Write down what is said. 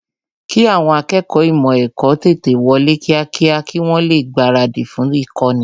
kì àwọn akẹ́kọ̀ọ́ ímò èkó tètè wọlé kíákíá kí wọ́n lè gbaradì fún īkóni